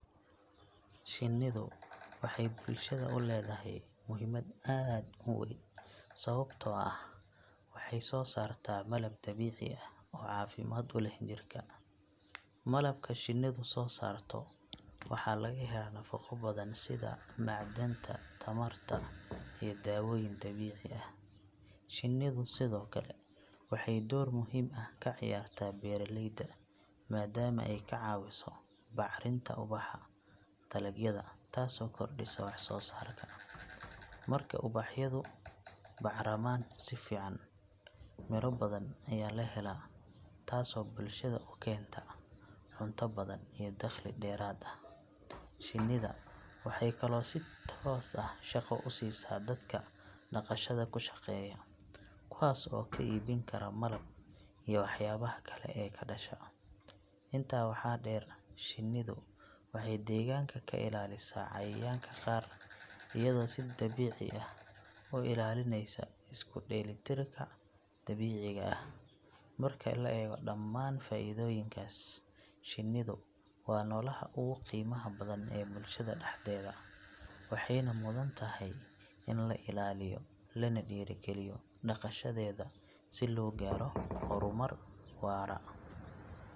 Shinnidu waxay bulshada u leedahay muhiimad aad u weyn sababtoo ah waxay soo saartaa malab dabiici ah oo caafimaad u leh jirka. Malabka shinnidu soo saarto waxaa laga helaa nafaqo badan sida macdanta, tamarta iyo daawooyin dabiici ah. Shinnidu sidoo kale waxay door muhiim ah ka ciyaartaa beeraleyda maadaama ay ka caawiso bacrinta ubaxa dalagyada taasoo kordhisa wax soo saarka. Marka ubaxyadu bacramaan si fiican, miro badan ayaa la helaa taasoo bulshada u keenta cunto badan iyo dakhli dheeraad ah. Shinnida waxay kaloo si toos ah shaqo u siisaa dadka dhaqashada ku shaqeeya, kuwaas oo ka iibin kara malab iyo waxyaabaha kale ee ka dhasha. Intaa waxaa dheer, shinnidu waxay deegaanka ka ilaalisaa cayayaanka qaar iyadoo si dabiici ah u ilaalinaysa isku dheelitirka dabiiciga ah. Marka la eego dhammaan faa’iidooyinkaas, shinnidu waa noolaha ugu qiimaha badan ee bulshada dhexdeeda, waxayna mudan tahay in la ilaaliyo lana dhiirrigeliyo dhaqashadeeda si loo gaaro horumar waara.